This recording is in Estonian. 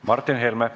Martin Helme.